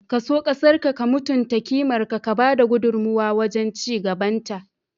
Ka so ƙasarƙa, ka mutunta kimarta, ka ba da gudummuwa wajen ci gabanta.